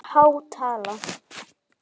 Það er há tala.